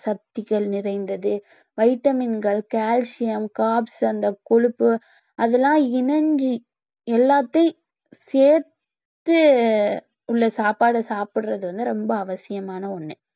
சக்திகள் நிறைந்தது vitamin கள் calcium அந்த கொழுப்பு அதெல்லாம் இணைஞ்சி எல்லாத்தையும் சேத்து உள்ள சாப்பாடு சாப்பிடுறது வந்து ரொம்ப அவசியமான ஒண்ணு